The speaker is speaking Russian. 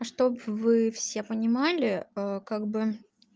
а чтобы вы все понимали как бы